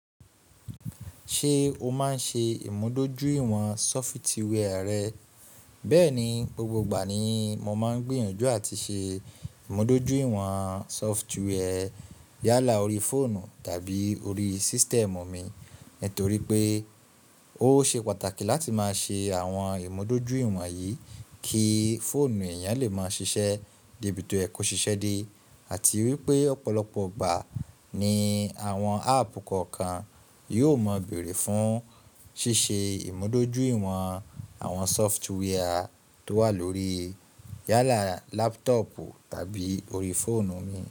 Ṣé o máa ń ṣe ìmúdójúìwọ̀n sọfitíwẹ́ẹ̀ rẹ́? Bẹ́ẹ̀ni, gbogbo ìgbà ni mo máa ń gbìyànjú àti ṣe ìmúdójúìwọ̀n sọfitíwẹ́ẹ̀ yálà orí fóònù tàbí orí system mu mi. Nítorí pé ó ṣe pàtàkì láti máa ṣe àwọn ìmúdójúìwọ̀n yìí kí fóònù èèyàn lè máa ṣiṣẹ́ de ìbìto yẹ ko ṣíṣe di. Àti wípé ọ̀pọ̀lọpọ̀ ìgbà ni àwọn áàpù kọ̀ọ̀kan yóò maa bèrè fún ṣíṣe ìmúdójúìwọ̀n àwọn software tó wà lórí yálà lápútọ̀pù tàbí orí fóònù mi.